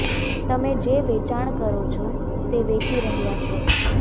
તમે જે વેચાણ કરો છો તે વેચી રહ્યા છો